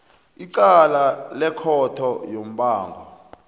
icala lekhotho yombango